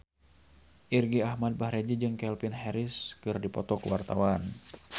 Irgi Ahmad Fahrezi jeung Calvin Harris keur dipoto ku wartawan